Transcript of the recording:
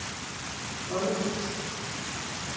Bolderis